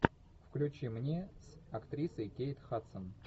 включи мне с актрисой кейт хадсон